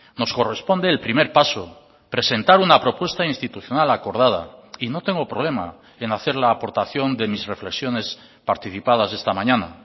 nos corresponde el primer paso presentar una propuesta institucional acordada y no tengo problema en hacer la aportación de mis reflexiones participadas esta mañana